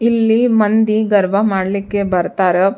ಇಲ್ಲಿ ಮಂದಿ ಗರ್ಬ ಮಾಡ್ಲಿಕ್ಕೆ ಬರ್ತಾರ್.